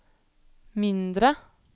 mindre